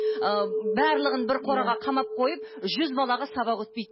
ыыы барлығын бір қораға қамап қойып жүз балаға сабақ өтпейді